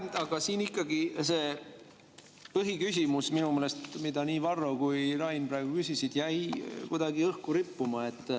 Minu meelest ikkagi see põhiküsimus, mida nii Varro kui ka Rain praegu küsisid, jäi kuidagi õhku rippuma.